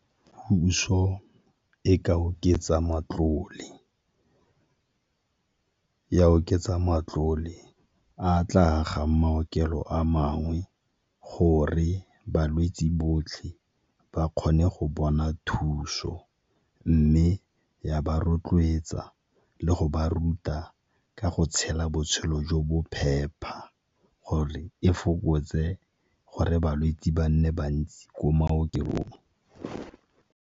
Puso e ka oketsa matlole. Ya oketsa matlole a a tla agang maokelo a mangwe gore balwetse botlhe ba kgone go bona thuso, mme ya ba rotloetsa le go ba ruta ka go tshela botshelo jo bo phepa gore e fokotse gore balwetse ba nne bantsi ko maokelong.